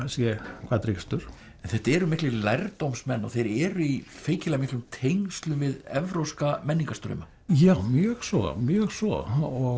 sé hvað drýgstur en þetta eru miklir lærdómsmenn og þeir eru í feikilega miklum tengslum við evrópska menningarstrauma já mjög svo mjög svo